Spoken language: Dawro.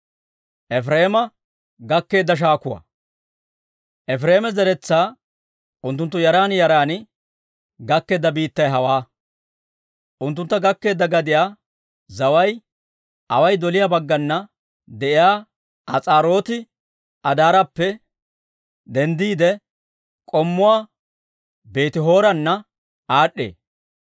Efireema zeretsaa unttunttu yaran yaran gakkeedda biittay hawaa; unttuntta gakkeedda gadiyaa zaway away doliyaa baggana de'iyaa As'aarooti-Addaarappe denddiide, k'ommuwaa Beeti-Horoona aad'd'ee;